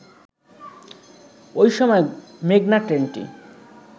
ঐ সময় মেঘনা ট্রেনটি